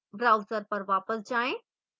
browser पर वापस जाएँ